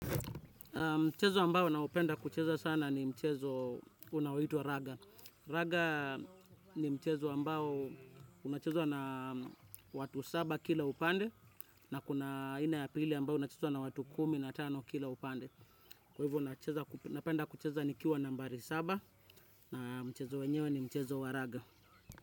Mchezo ambao naupenda kucheza sana ni mchezo unaoitwa Raga. Raga ni mchezo ambao unachezwa na watu saba kila upande na kuna aina ya pili ambao unachezwa na watu kumi na tano kila upande. Kwa hivyo unapenda kucheza nikiwa nambari saba na mchezo wenyewe ni mchezo wa Raga.